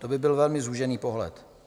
To by byl velmi zúžený pohled.